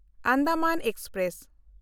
Andaman express